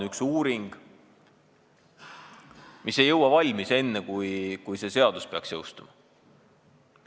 ... üks uuring, millega ei jõuta valmis enne selle seaduse jõustumist.